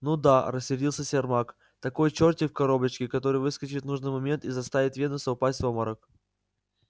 ну да рассердился сермак такой чёртик в коробочке который выскочит в нужный момент и заставит венуса упасть в обморок